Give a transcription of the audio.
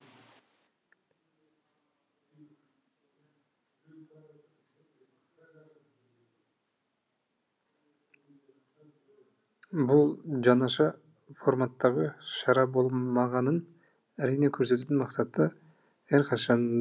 бұл жаңаша форматтағы шара болғанымен әрине көрісудің мақсаты әрқашанда айқын